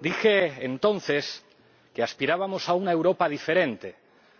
Dije entonces que aspirábamos a una Europa diferente,